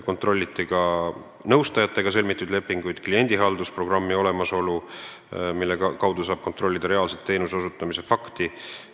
Kontrolliti ka nõustajatega sõlmitud lepinguid ja kliendihaldusprogrammi olemasolu, mille kaudu saab kontrollida teenuse osutamise fakti.